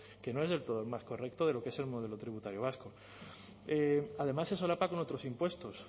que no es del todo el más correcto de lo que es el modelo tributario vasco además se solapa con otros impuestos